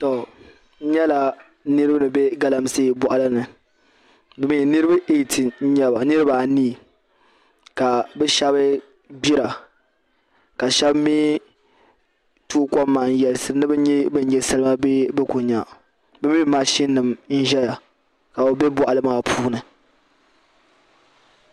N nyɛla niraba ni bɛ galamsee boɣali ni niraba anii ka bi shab gbira ka bi shab mii tooi kom maa n yɛlisiri ni bi nyɛ bin nyɛ salima bee bi ku nya bi mini mashin nim n ʒɛya ka bi bɛ boɣali maa puuni